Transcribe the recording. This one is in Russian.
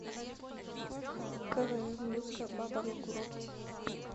квн русская баба на курорте